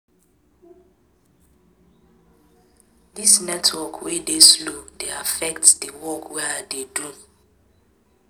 Dis network wey dey slow dey affect di work wey I dey do.